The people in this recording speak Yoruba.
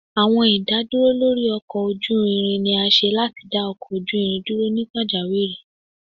Awọn idaduro lori ọkọ oju irin ni a ṣe lati da ọkọ oju irin duro ni pajawiri.